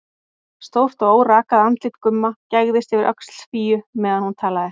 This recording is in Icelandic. Stórt og órakað andlit Gumma gægðist yfir öxl Fíu meðan hún talaði.